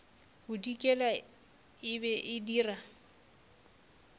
bodikela e be e dira